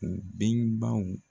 U denbaw